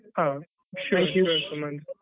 ಹಾ sure thank you Sumanth.